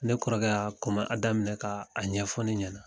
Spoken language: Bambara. Ne kɔrɔkɛ y' a kuma daminɛ ka a ɲɛfɔ ne ɲɛna.